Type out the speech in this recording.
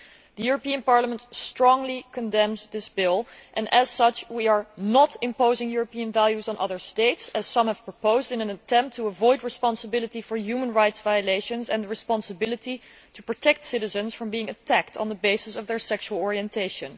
The European Parliament strongly condemns this bill and, in so doing, we are not imposing European values on other states, as some have suggested, in an attempt to avoid responsibility for human rights violations and responsibility for protecting citizens from being attacked on the basis of their sexual orientation.